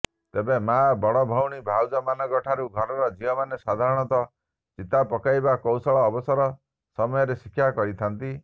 ତେବେ ମାଆ ବଡଭଉଣୀ ଭାଉଜମାନଙ୍କଠାରୁ ଘରର ଝିଅମାନେ ସାଧାରଣତଃ ଚିତା ପକାଇବାର କୌଶଳ ଅବସର ସମୟରେ ଶିକ୍ଷା କରିଥାନ୍ତି